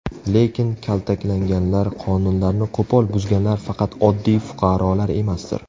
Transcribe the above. Lekin kaltaklaganlar, qonunlarni qo‘pol buzganlar faqat oddiy fuqarolar emasdir?